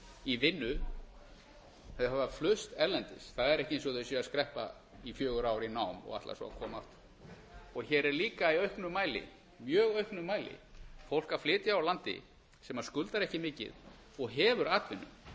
í vinnu þau hafa flust erlendis það er ekki eins og þau séu að skreppa í fjögur ár í nám og ætla svo að koma aftur og hér er líka í auknum mæli mjög auknum mæli fólk að flytja úr landi sem skuldar ekki mikið og hefur atvinnu